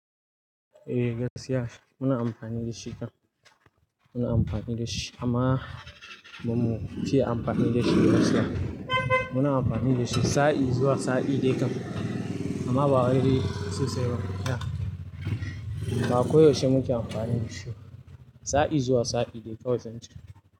Eh, gaskiya muna amfani da shi kam. Muna amfani da shi amma ba mu ci amfani da shi gaskiya. Muna amfani da shi, sa'i zuwa sa'i dai kam amma ba wai sosai ba. Ba koyaushe muke amfani da shi ba, sa'i zuwa sa'i dai kawai zan ce.